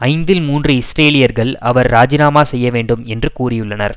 ஐந்தில் மூன்று இஸ்ரேலியர்கள் அவர் இராஜிநாமா செய்யவேண்டும் என்று கூறியுள்ளனர்